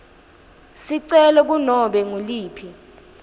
sicelo kunobe nguliphi